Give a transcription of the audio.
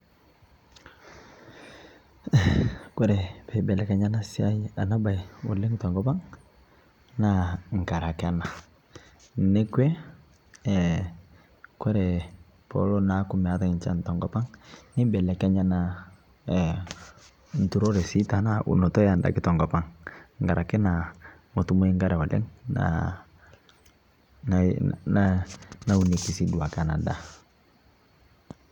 kore peibelekenya ana siai ana bai oleng tenkopang naa ngarake anaa nekwe kore peelo naaku meatai nchan tenkopang neibelekenya naa nturoree tanaa sii unotoo endaki tenkopang ngarake naa motumoi nkaree oleng naunekii sii duake anaa daa